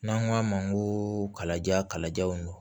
N'an ko a ma n ko kalaja kalajaw don